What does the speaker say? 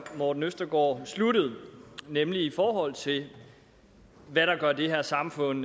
morten østergaard sluttede nemlig i forhold til hvad der gør det her samfund